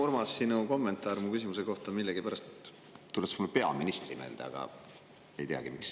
Urmas, sinu kommentaar mu küsimuse kohta tuletas mulle millegipärast peaministrit meelde, ma ei teagi, miks.